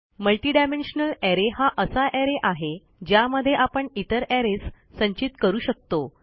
multidimensional array हा असा array आहे ज्यामध्ये आपण इतरarrays संचित करू शकतो